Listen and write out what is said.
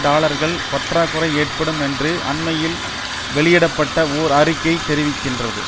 டாலர்கள் பற்றாக்குறை ஏற்படும் என்று அண்மையில் வெளியிட பட்ட ஓர் அறிக்கை தெரிவிகின்றது